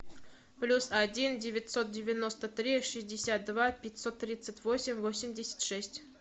плюс один девятьсот девяносто три шестьдесят два пятьсот тридцать восемь восемьдесят шесть